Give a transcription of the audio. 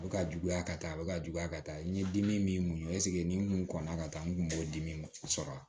A bɛ ka juguya ka taa a bɛ ka juguya ka taa n'i ye dimi min sigi nin mun kɔnɔnan ka taa n kun b'o dimi sɔrɔ a la